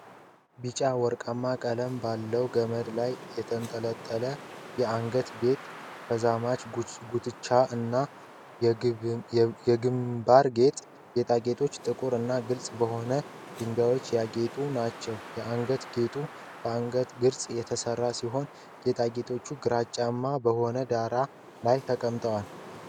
ቢጫ-ወርቃማ ቀለም ባለው ገመድ ላይ የተንጠለጠለ የአንገት ጌጥ፣ ተዛማጅ ጉትቻዎች እና የግምባር ጌጥ። ጌጣጌጦቹ ጥቁር እና ግልጽ በሆኑ ድንጋዮች ያጌጡ ናቸው። የአንገት ጌጡ በአንገት ቅርጽ የተሠራ ሲሆን፣ ጌጣጌጦቹ ግራጫማ በሆነ ዳራ ላይ ተቀምጠዋል።